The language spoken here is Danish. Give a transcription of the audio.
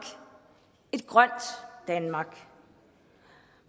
et grønt danmark